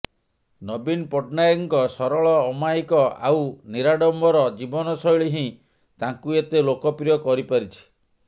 ନବୀନ ପଟ୍ଟନାୟକଙ୍କ ସରଳ ଅମାୟିକ ଆଉ ନିରାଡମ୍ବର ଜୀବନଶୈଳୀ ହିଁ ତାଙ୍କୁ ଏତେ ଲୋକପ୍ରିୟ କରିପାରିଛି